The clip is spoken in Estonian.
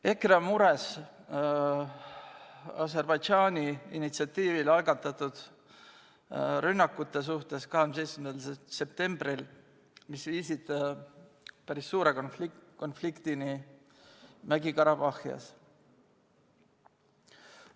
EKRE on mures Aserbaidžaani initsiatiivil 27. septembril algatatud rünnakute pärast, mis on viinud päris suure konfliktini Mägi-Karabahhis.